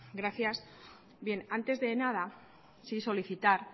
gracias bien antes de nada sí solicitar